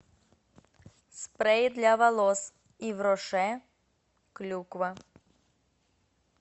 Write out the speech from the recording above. спрей для волос ив роше клюква